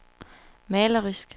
malerisk